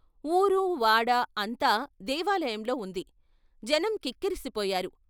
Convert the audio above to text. ఊరు వాడ అంతా దేవాలయంలో ఉంది, జనం కిక్కిరిసి పోయారు.